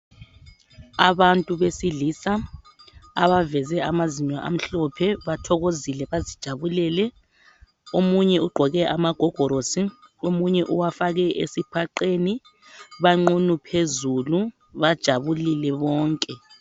Abantu besilisa abaveze amazinyo amhlophe bathokozile bazijabulele omunye ugqoke amagigorosi. Omunye uwafake esipheqeni banqunu phezulu bajabulilele bonke.